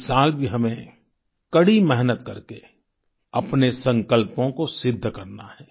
इस साल भी हमें कड़ी मेहनत करके अपने संकल्पों को सिद्ध करना है